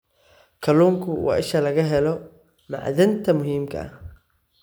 Kalluunku waa isha laga helo macdanta muhiimka ah.